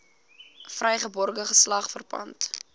vrygebore geslag verpand